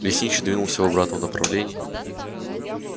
лесничий двинулся в обратном направлении